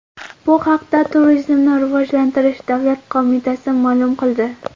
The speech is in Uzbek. Bu haqda Turizmni rivojlantirish davlat qo‘mitasi ma’lum qildi .